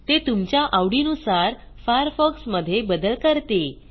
ते तुमच्या आवडीनुसार फायरफॉक्स मधे बदल करते